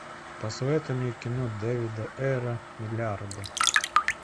посоветуй мне кино дэвида эра миллиарды